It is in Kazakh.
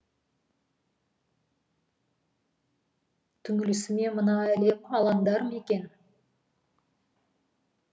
түңілісіме мына әлем алаңдар ма екен